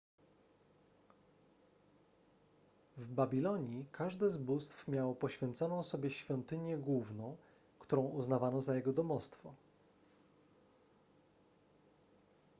w babilonii każde z bóstw miało poświęconą sobie świątynię główną którą uznawano za jego domostwo